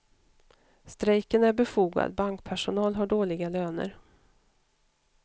Strejken är befogad, bankpersonal har dåliga löner.